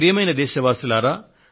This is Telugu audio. ప్రియమైన నా దేశ వాసులారా